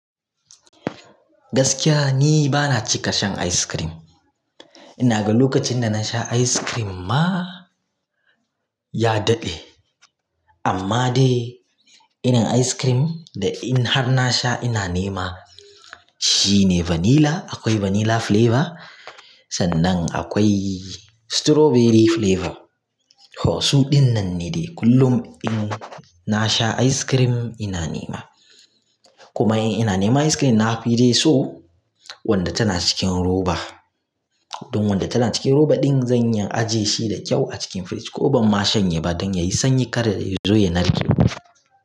Gaskiya ni bana cika shan ice cream. Ina ga lokacin da na sha ice cream ma ya daɗe. Amma dai irin ice cream da in har na sha ina nema shi ne vanilla. Akwai vanilla flavor sannan akwai strawberry flavor. To su ɗinnan ne dai kullum in na sha ice cream ina nema. Kuma in ina nema ice cream na fi dai so wanda tana cikin roba. Don wanda tana cikin roba ɗin zan iya ajiye shi da kyau a cikin fridge ko ban mashanye ba don yayi sanyi kar dai ya zo ya narke.